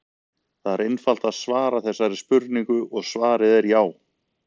Það er einfalt að svara þessari spurningu og svarið er já!